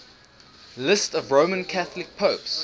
lists of roman catholic popes